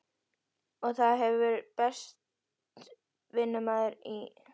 Og það hefur bæst vinnumaður í heyskapinn.